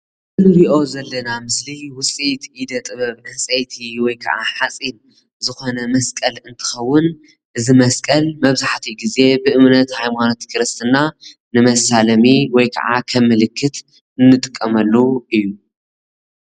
እዚ እንሪኦ ዘለና ምስሊ ውፅኢት ኢደ ጥበብ ዕንፀይቲ ወይ ድማ ሓፂን ዝኾነ መስቀል እንትኸውን እዚ መስቀል መብዛሕቲኡ ግዜ ብ እምነት ሃይማኖት ክርስትና ነመሳለሚ ወይ ምልክት ንጥቀመሉ እዪ።